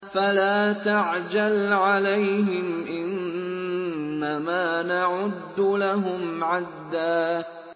فَلَا تَعْجَلْ عَلَيْهِمْ ۖ إِنَّمَا نَعُدُّ لَهُمْ عَدًّا